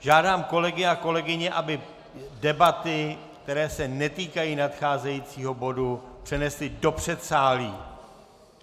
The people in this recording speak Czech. Žádám kolegy a kolegyně, aby debaty, které se netýkají nadcházejícího bodu, přenesli do předsálí!